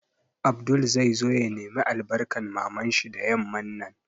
Abdul zai zo ya nemi albarkan Mamar shi da yamman nan